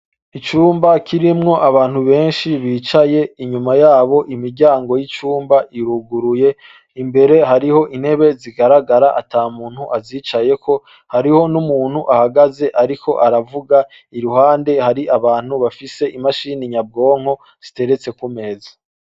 Icumba kirimwo abantu benshi bicaye. Inyuma y'abo, imiryango y"icumba irugiriye. Imbere, h'ariho intebe zigaragara, ata muntu azicayeko. Hariho n'umuntu ahagaze ariko aravuga iruhande hari abantu bafise imashini nyabwonko ziteretse ku meza.